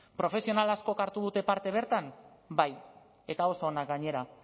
profesional askok hartu dute parte bertan bai eta oso ona gainera